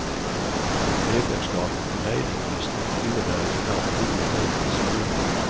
Medlemskapet på mejlinglistor innebär ibland tio mejl i sekunden.